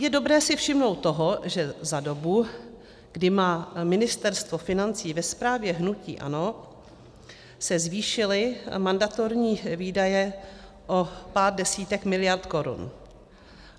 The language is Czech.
Je dobré si všimnout toho, že za dobu, kdy má Ministerstvo financí ve správě hnutí ANO, se zvýšily mandatorní výdaje o pár desítek miliard korun.